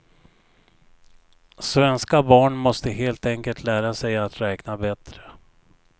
Svenska barn måste helt enkelt lära sig att räkna bättre.